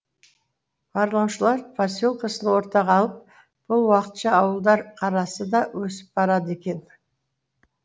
барлаушылар поселкесін ортаға алып бұл уақытша ауылдар қарасы да өсіп барады екен